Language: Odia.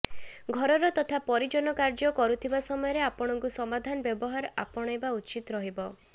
ଘରର ତଥା ପରିଜନ କାର୍ଯ୍ୟ କରୁଥିବା ସମୟରେ ଆପଣଙ୍କୁ ସମାଧାନ ବ୍ୟବହାର ଆପଣାଇବା ଉଚିତ ରହିବ